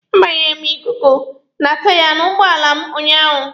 A gbanyere m ikuku na taiya n'ugbọala m ụnyaahụ.